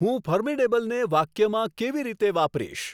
હું ફર્મીડેબલને વાક્યમાં કેવી રીતે વાપરીશ